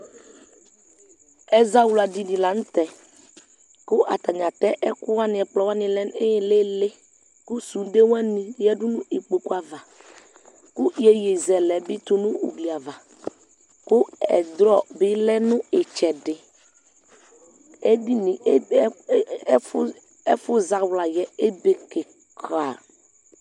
Ɛzawla dini la nu tɛ ku atani atɛ ɛkuwani ɛkplɔ wani lɛ nu ilili ku sude wani yadu nu ikpoku ava ku iyeye zɛlɛ bi tu nu ugli ava ku ɛdrɔ bi lɛ nu itsɛdi ɛfu zawla yɛ ebe kika